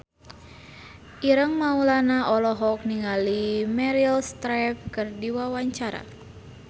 Ireng Maulana olohok ningali Meryl Streep keur diwawancara